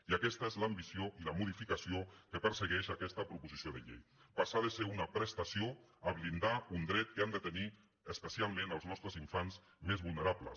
i aquesta és l’ambició i la modificació que persegueix aquesta proposició de llei passar de ser una prestació a blindar un dret que han de tenir especialment els nostres infants més vulnerables